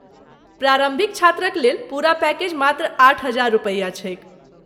प्रारम्भिक छात्रक लेल पूरा पैकेज मात्र आठ हजार रुपैया छैक ।